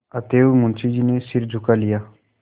अतएव मुंशी जी ने सिर झुका लिया